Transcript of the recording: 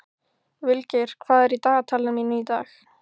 Vilgeir, hvað er í dagatalinu mínu í dag?